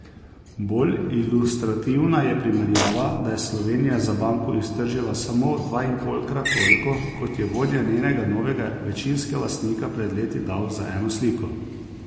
Bolj ilustrativna je primerjava, da je Slovenija za banko iztržila samo dvainpolkrat toliko, kot je vodja njenega novega večinskega lastnika pred leti dal za eno sliko.